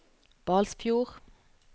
Balsfjord